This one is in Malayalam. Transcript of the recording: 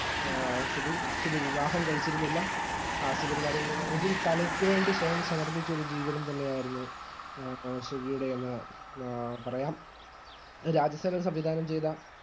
ആ സുബി സുബി വിവാഹം കഴിച്ചിരുന്നില്ല ഹാസ്യ പരിപാടികളിൽ അല്ലെങ്കിൽ കലയ്ക്കുവേണ്ടി സ്വയം സമർപ്പിച്ച ഒരു ജീവിതം തന്നെയാരുന്നു സുബിയുടെ എന്ന് പ പറയാം രാജസേനൻ സംവിധനം ചെയ്ത